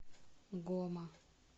гома